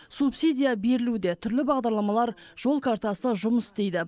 субсидия берілуде түрлі бағдарламалар жол картасы жұмыс істейді